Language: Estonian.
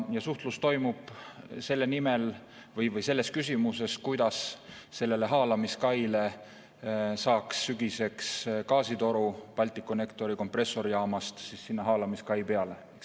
Ja suhtlus toimub selle nimel või selles küsimuses, kuidas saaks sügiseks gaasitoru Balticconnectori kompressorijaamast haalamiskai peale.